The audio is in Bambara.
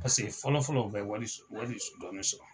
Paseke fɔlɔ fɔlɔ u be wari dɔɔni sɔrɔ.